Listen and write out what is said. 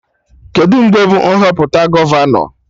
Kedụ mgbe bụ Nhọpụta gọvanọ?